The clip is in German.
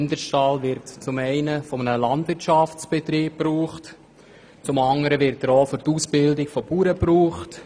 Dieser Stall wird einerseits von einem Landwirtschaftsbetrieb gebraucht und anderseits auch für die Ausbildung von Bauern eingesetzt.